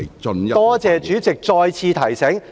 多謝主席再次提醒。